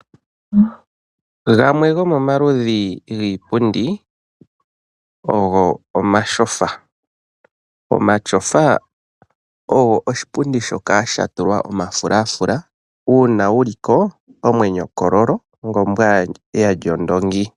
Gamwe gomomaludhi giipundi ogo omatyofa. Omatyofa ogo oshipundi shoka sha tulwa omafulafula, uuna wu li ko omwenyo kololo ngombwa ya lya ondoongi.